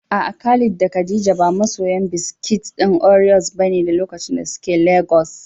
A'a, Khalid da Khadija ba masoya biskit ɗin Oreos bane a lokacin da suke Legas.